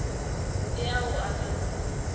le ao a ka no